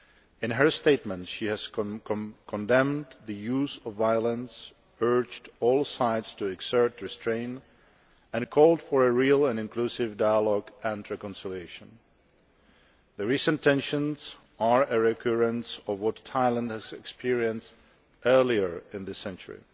In her statements she has condemned the use of violence, urged all sides to exert restraint and called for a real and inclusive dialogue and reconciliation. The recent tensions are a recurrence of what Thailand has experienced earlier in this century.